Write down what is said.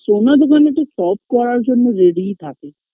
সোনার দোকানে তো সব করার জন্য ready -ই থাকে